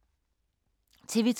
TV 2